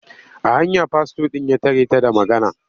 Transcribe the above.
A hanya fastor ɗin ya tare ta da magana.